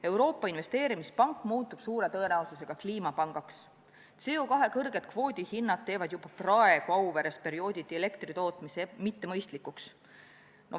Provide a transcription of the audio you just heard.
Euroopa Investeerimispank muutub suure tõenäosusega kliimapangaks, CO2 kõrged kvoodihinnad muudavad juba praegu Auveres elektri tootmise periooditi mittemõistlikuks.